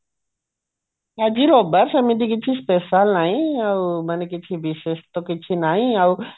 ଆଜି ରବିବାର ସେମିତି କିଛି special ନାହିଁ ମାନେ କିଛି ବିଶେଷ ତ କିଛି ନାଇଁ ଆଉ